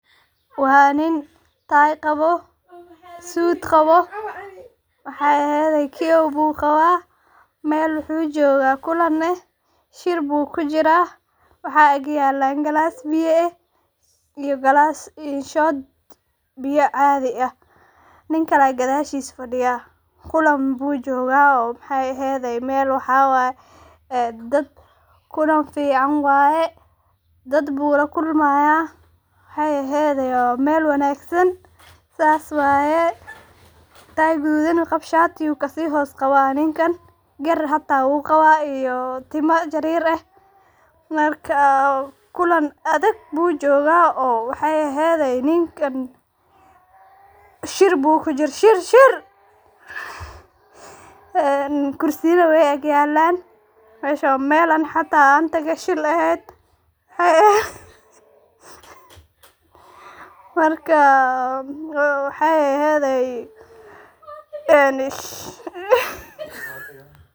Waa nin tie qabo, suud qabo wahey ehedhe kiyoow buu qaba meel wuxu jogaa kulan eh shir bu kijira waxa ag yelan galas biya ah iyo shood adhi oo biya ah, nin kale ayaa gadhashisa faadiya kulan oo wuxu jogaa maxey ehedhe oo dad kulan fican waye dad buu lakulmaya waxey ehedhe waa meel wanagsan sas waye. tie gadhudan iyo shaati uu kasi hos qawa ninkan gaar hata uu qawa iyo timo jarer ah marka kulan adag buu joga waxey ehedhe. Ninkan shiir bu kujir ninkan shiir shiir ee kursiyana wey agyelaan meshana waa meel adigana aan tagay shiir bey ehed marka waxey ehedey.